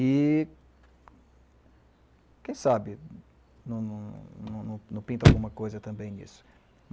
E, quem sabe, não pinta alguma coisa também nisso.